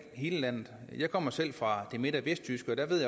hele landet jeg kommer selv fra det midt og vestjyske og der ved